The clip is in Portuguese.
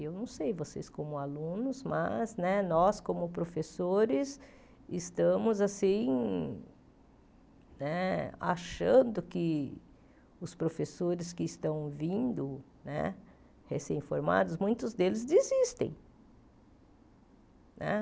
Eu não sei, vocês como alunos, mas nós, como professores, estamos assim né achando que os professores que estão vindo né, recém-formados, muitos deles desistem né.